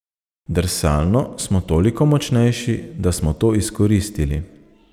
Drsalno smo toliko močnejši, da smo to izkoristili.